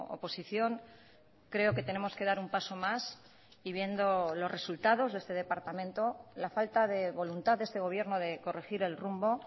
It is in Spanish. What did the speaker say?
oposición creo que tenemos que dar un paso más y viendo los resultados de este departamento la falta de voluntad de este gobierno de corregir el rumbo